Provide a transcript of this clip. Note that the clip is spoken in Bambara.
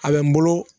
A bɛ n bolo